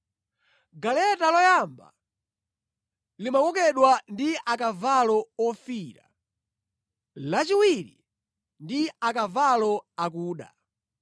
Galeta loyamba limakokedwa ndi akavalo ofiira, lachiwiri ndi akavalo akuda,